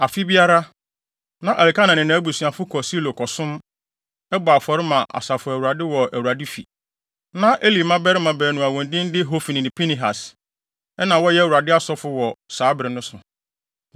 Afe biara, na Elkana ne nʼabusuafo kɔ Silo kɔsom, bɔ afɔre ma Asafo Awurade wɔ Awurade fi. Na Eli mmabarima baanu a wɔn din de Hofni ne Pinehas na wɔyɛ Awurade asɔfo wɔ hɔ saa bere no.